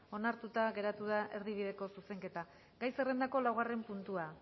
onartuta geratu da erdibideko zuzenketa gai zerrendako laugarren puntua